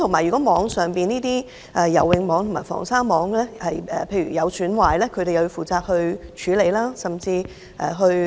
如果游泳網及防鯊網損壞，他們亦要負責處理甚至移除。